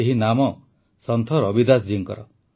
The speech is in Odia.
ଏହି ନାମ ସନ୍ଥ ରବିଦାସ ଜୀଙ୍କର